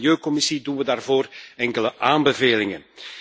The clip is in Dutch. Vanuit de milieucommissie doen we daarvoor enkele aanbevelingen.